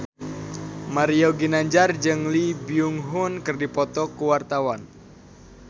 Mario Ginanjar jeung Lee Byung Hun keur dipoto ku wartawan